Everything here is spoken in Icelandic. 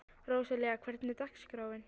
Róselía, hvernig er dagskráin?